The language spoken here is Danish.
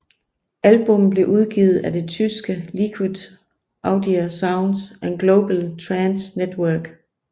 Albummet blev udgivet af det tyske Liquid Audio Soundz og Global Trance Network